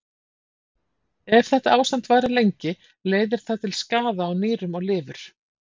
ef þetta ástand varir lengi leiðir það til skaða á nýrum og lifur